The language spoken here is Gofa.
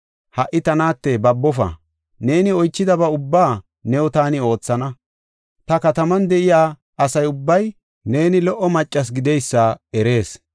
Ha7i ta naate babofa. Neeni oychidaba ubba new taani oothana. Ta kataman de7iya asa ubbay neeni lo77o maccasi gideysa erees.